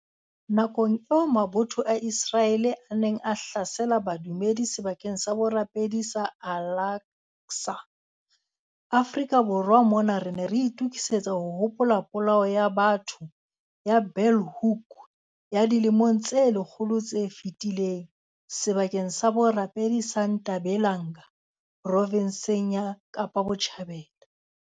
Nakong eo mabotho a Ise raele a neng a hlasela badumedi sebakeng sa borapedi sa Al Aqsa, Afrika Borwa mona re ne re itokisetsa ho hopola Polao ya batho ya Bulhoek ya dilemong tse lekgolo tse fetileng sebakeng sa borapedi sa Ntabelanga provenseng ya Kapa Botjhabela.